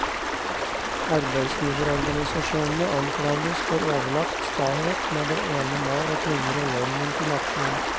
Arbeidsgiverorganisasjonene anklages for overlagt stahet med det ene mål å tvinge regjeringen til aksjon.